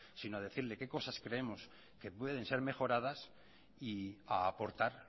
sino a decirle qué cosas creemos que pueden ser mejoradas y a aportar